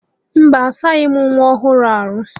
Mba, asaghị m nwa ọhụrụ ahụ.